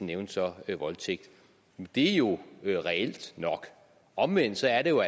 nævnte så voldtægt det er jo reelt nok omvendt er det jo